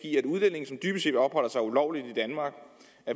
i set opholder sig ulovligt